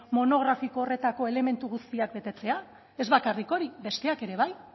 monografiko horretako elementu guztiak betetzea ez bakarrik hori besteak ere bai